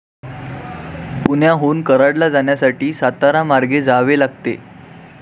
पुण्याहून कराडला जाण्यासाठी, सातारा मार्गे जावे लागते.